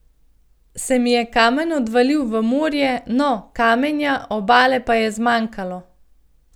Se mi je kamen odvalil v morje, no, kamenja, obale pa je zmanjkalo.